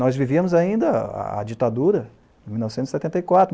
Nós vivíamos ainda a a ditadura, em mil novecentos e setenta e quatro.